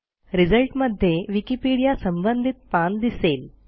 result मध्ये Wikipedia संबंधित पान दिसेल